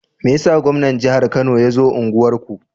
Meyasa gwaman jahar kano yazo unguwar ku?